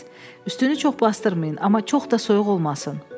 Üstünü çox basdırmayın, amma çox da soyuq olmasın.